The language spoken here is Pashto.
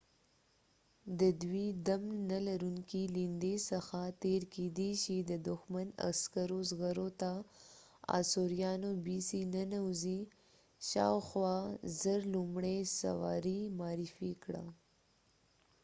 د دوی دم نلرونکي ليندي څخه تیر کیدی شي د دښمن عسکرو زغرو ته ننوځي. شاوخوا ۱۰۰۰ b.c. آثوریانو لومړۍ سواري معرفي کړه